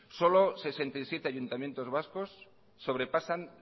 solo sesenta y siete ayuntamientos vascos sobrepasan